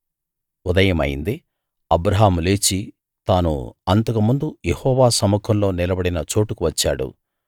ఉదయమైంది అబ్రాహాము లేచి తాను అంతకుముందు యెహోవా సముఖంలో నిలబడిన చోటుకు వచ్చాడు